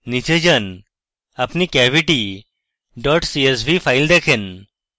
নীচে যান আপনি cavitycsv ফাইল দেখেন